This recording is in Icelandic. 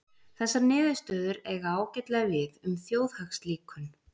Þessar niðurstöður eiga ágætlega við um þjóðhagslíkön.